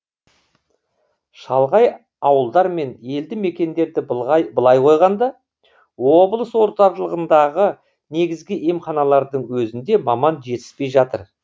шалғай ауылдар мен елді мекендерді былай қойғанда облыс орталығындағы негізгі емханалардың өзінде маман жетіспей жатыр